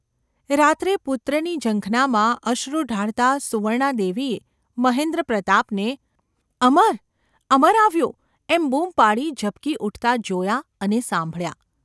રાત્રે પુત્રની ઝંખનામાં અશ્રુ ઢાળતાં સુવર્ણાદેવીએ મહેન્દ્રપ્રતાપને ‘અમર ! અમર આવ્યો !’ એમ બૂમ પાડી ઝબકી ઊઠતા જોયાં અને સાંભળ્યા.